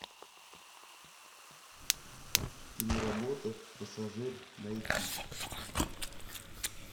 киноработа пассажир найти